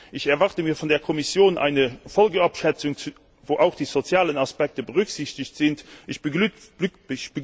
Ich erwarte mir von der Kommission eine Folgenabschätzung, in der auch die sozialen Aspekte berücksichtigt werden.